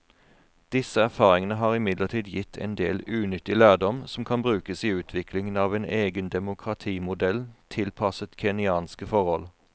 Disse erfaringene har imidlertid gitt en del nyttig lærdom som kan brukes i utviklingen av en egen demokratimodell tilpasset kenyanske forhold.